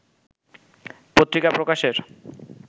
পত্রিকা প্রকাশের